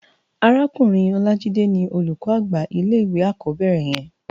Árákúrin Olajide ni ólúkò ágbá ilé iwé ákòbèrè yèn